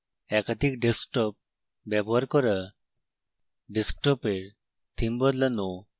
একাধিক ডেস্কটপ ব্যবহার করা